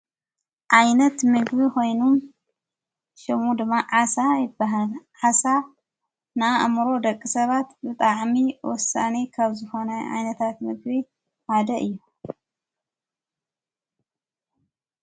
ዓይነት ምግቢ ኮይኑን ሽሙ ድማ ዓሳ ይበሃለ ዓሳ ና እምሮ ደቂ ሰባት ብጣዓሚ ወሳኒ ካብ ዘኾነይ ኣይነታት ምግቢ ማደይ እዩ።